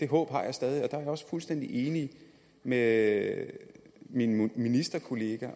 håb har jeg stadig og jeg også fuldstændig enig med min ministerkollega